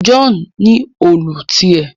John ní Òòlù tiẹ